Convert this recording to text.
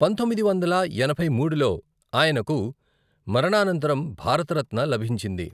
పంతొమ్మిది వందల ఎనభై మూడులో ఆయనకు మరణానంతరం భారతరత్న లభించింది.